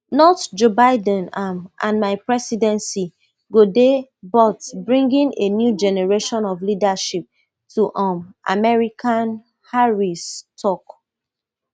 notjoe biden um and my presidency go dey bout bringing a new generation of leadership to um america harris tok